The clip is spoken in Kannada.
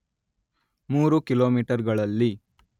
ಮೂರು ಕಿಲೋಮೀಟರ್‌ಗಳಲ್ಲಿ